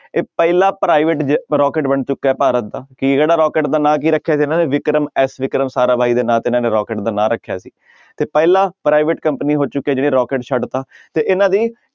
ਇਹ ਪਹਿਲਾ private ਜੈ~ ਰੋਕੇਟ ਬਣ ਚੁੱਕਾ ਹੈ ਭਾਰਤ ਦਾ ਰੋਕੇਟ ਦਾ ਨਾਂ ਕੀ ਰੱਖਿਆ ਸੀ ਇਹਨਾਂ ਨੇ ਵਿਕਰਮ ਐਸ ਵਿਕਰਮ ਸਾਰਾ ਬਾਈ ਦੇ ਨਾਂ ਤੇ ਇਹਨਾਂ ਨੇ ਰੋਕੇਟ ਦਾ ਨਾਂ ਰੱਖਿਆ ਸੀ ਤੇ ਪਹਿਲਾ private company ਹੋ ਚੁੱਕੀ ਹੈ ਜਿਹਨੇ ਰੋਕੇਟ ਛੱਡ ਦਿੱਤਾ ਤੇ ਇਹਨਾਂ ਦੀ